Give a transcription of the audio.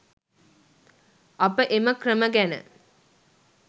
අප එම ක්‍රම ගැන